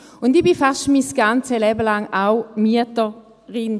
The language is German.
Auch ich war fast mein ganzes Leben lang auch Mieterin.